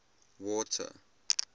water